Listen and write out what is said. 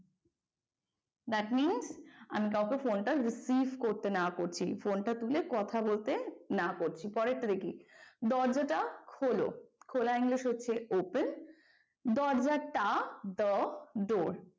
that means আমি কাউকে phone টা receive করতে না করছি phone টা তুলে কথা বলতে না করছি ।পরের টা দেখি দরজাটা খোলো। খোলা english হচ্ছে open দরজাটা the door